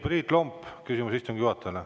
Priit Lomp, küsimus istungi juhatajale.